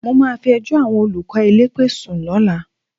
Mo máa fi ẹjọ́ àwọn olùkọ́ elépè sùn lọ́la